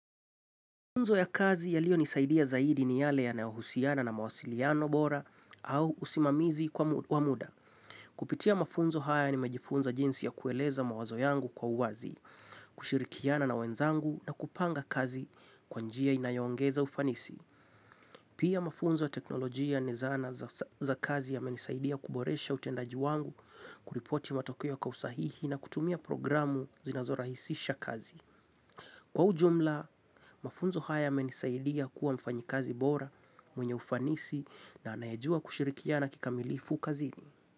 Mafunzo ya kazi yaliyonisaidia zaidi ni yale yanayohusiana na mawasiliano bora au usimamizi kwa muda. Kupitia mafunzo haya nimejifunza jinsi ya kueleza mawazo yangu kwa uwazi, kushirikiana na wenzangu na kupanga kazi kwa njia inayoongeza ufanisi. Pia mafunzo ya teknolojia ni zana za kazi yamenisaidia kuboresha utendaji wangu, kuripoti matokeo kwa usahihi na kutumia programu zinazorahisisha kazi. Kwa ujumla, mafunzo haya yamenisaidia kuwa mfanyikazi bora mwenye ufanisi na anayejua kushirikiana kikamilifu kazini.